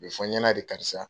A bɛ fɔ n ɲana de karisa.